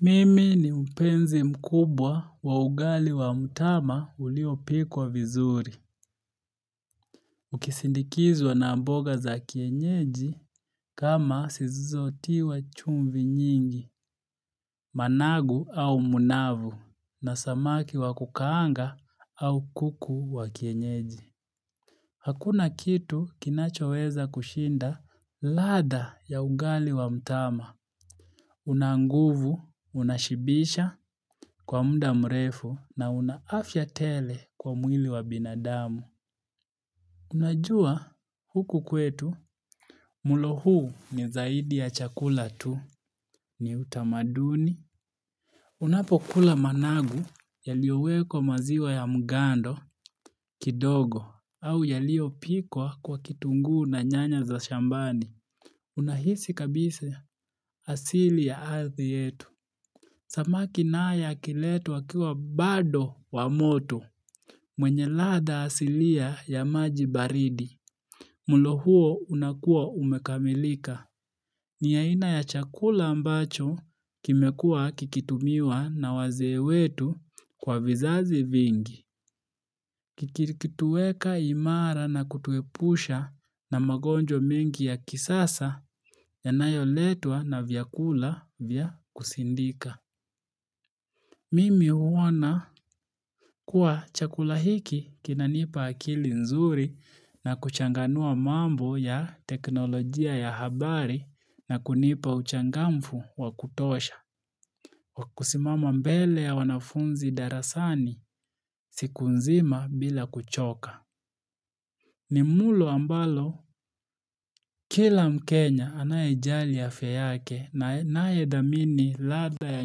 Mimi ni mpenzi mkubwa wa ugali wa mtama uliopikwa vizuri. Ukisindikizwa na mboga za kienyeji kama zisizo tiwa chumvi nyingi, managu au munavu, na samaki wa kukaanga au kuku wa kienyeji. Hakuna kitu kinachoweza kushinda ladha ya ugali wa mtama. Unanguvu, unashibisha kwa muda mrefu na unaafya tele kwa mwili wa binadamu. Unajua huku kwetu mulo huu ni zaidi ya chakula tu ni utamaduni. Unapo kula managu yalio wekwa maziwa ya mgando kidogo au yalio pikwa kwa kitungu na nyanya za shambani. Unahisi kabisa asili ya ardhi yetu. Samaki nayo ikiletwa wakiwa bado wa moto mwenye ladha asilia ya majibaridi. Mulo huo unakua umekamilika. Ni yaina ya chakula ambacho kimekua kikitumiwa na wazee wetu kwa vizazi vingi. Kikitueka imara na kutuepusha na magonjwa mingi ya kisasa yanayo letwa na vyakula vya kusindika. Mimi huona kuwa chakula hiki kinanipa akili nzuri na kuchanganua mambo ya teknolojia ya habari na kunipa uchangamfu wa kutosha. Wakusimama mbele ya wanafunzi darasani siku nzima bila kuchoka. Nimulo ambalo kila mkenya anaye jali afya yake na anayedhamini ladha ya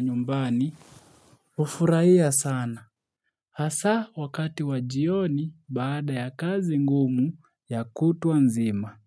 nyumbani hufuraia sana. Hasa wakati wajioni baada ya kazi ngumu ya kutuanzima.